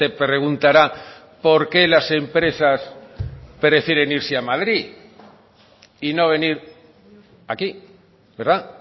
preguntará por qué las empresas prefieren irse a madrid y no venir aquí verdad